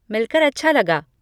मिलकर अच्छा लगा।